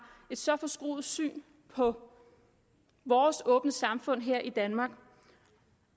et så forskruet syn på vores åbne samfund her i danmark